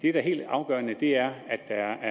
er helt afgørende er at der